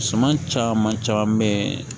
Suman caman caman be yen